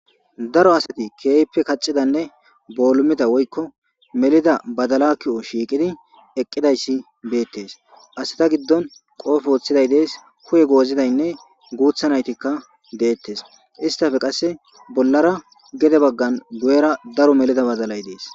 daro asati keeyppe kaccidanne boolumida woykko melida badala k'o shiiqidi eqqidayssi beettes asi ta giddon qoofe wooththiday dees kuye goozidaynne guuthanaytikka deettes istafe qasse bollara gede baggan guyera daro melida badalay dees